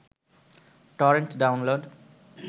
torrent download